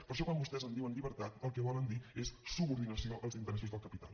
per això quan vostès en diuen llibertat el que volen dir és subordinació als interessos del capital